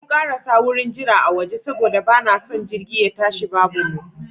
Mun karasa wurin jira a waje saboda ba na son jirgi ye tashi babu mu.